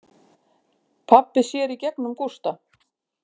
Pabbi sér í gegnum Gústa.